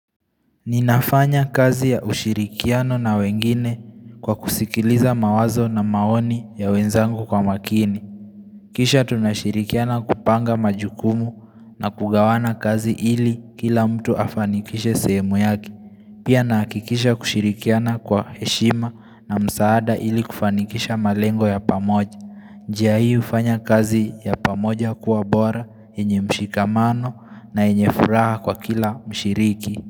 Ninafanya kazi ya ushirikiano na wengine kwa kusikiliza mawazo na maoni ya wenzangu kwa makini. Kisha tunashirikiana kupanga majukumu na kugawana kazi ili kila mtu afanikishe sehemu yake. Pia nahakikisha kushirikiana kwa heshima na msaada ili kufanikisha malengo ya pamoja. Njia hii hufanya kazi ya pamoja kuwa bora, yenye mshikamano, na yenye furaha kwa kila mshiriki.